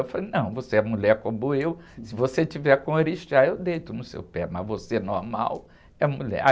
Eu falei, não, você é mulher como eu, se você tiver com orixá, eu deito no seu pé, mas você é normal, é mulher.